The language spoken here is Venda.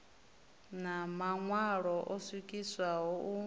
na maṋwalo o swikiswaho u